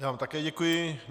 Já vám také děkuji.